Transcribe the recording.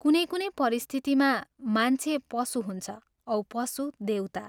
कुनै कुनै परिस्थितिमा मान्छे पशु हुन्छ औ पशु देवता।